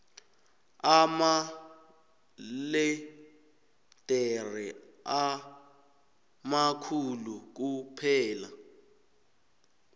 amaledere amakhulu kuphela